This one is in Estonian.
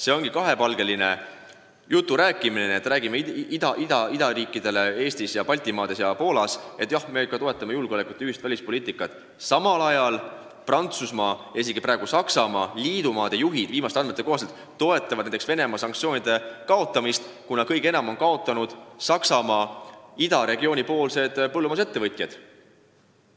See on kahepalgeline jutt, kui räägitakse Eestis ja mujal Baltimaades ja Poolas, et me toetame julgeolekut ja ühist välispoliitikat, aga samal ajal toetavad Prantsusmaa ja viimastel andmetel isegi Saksamaa liidumaade juhid Venemaa sanktsioonide kaotamist, kuna kõige enam on nende tõttu kaotanud Ida-Saksamaa põllumajandusettevõtjad.